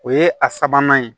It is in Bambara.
O ye a sabanan ye